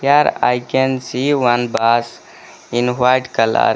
Here i can see one bus in white colour.